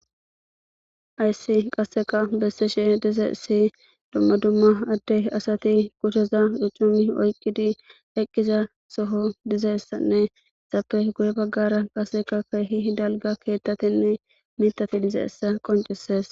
Ayssi qasseka besseshe diza si dumma dumma addey asati kucsheza duccumi oyqqidi heqqiza soho dizessanne ezappe guye baggara qaseka keehi dalga keettatinne mitati dize essa qoncises.